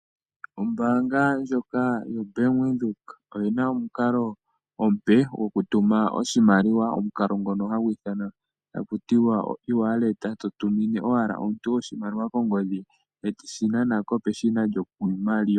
Ombaanga ndjoka yo Bank Windhoek oyi na omukalo omupe gokutuma oshimaiiwa, omukalo ngono hagu ithanwa taku tiwa o'easy wallet'. To tumine owala omuntu kongodhi e teshi nana ko peshina lyokunana oshimaliwa.